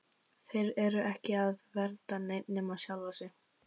Þeir eru ekki að vernda neitt nema sjálfa sig!